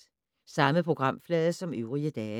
Samme programflade som øvrige dage